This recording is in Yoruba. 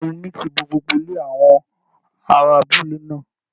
Ìkún omi ti bo gbogbo ilẹ̀ àwọn ará abúlé náà